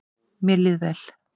Mér líður vel